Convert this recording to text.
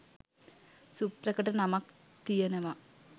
සුප්‍රකට නමක් තියනව